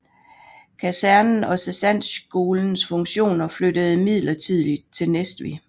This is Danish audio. Kasernen og sergentskolens funktioner flyttede midlertidig til Næstved